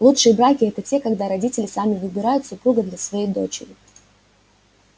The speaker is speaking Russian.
лучшие браки это те когда родители сами выбирают супруга для своей дочери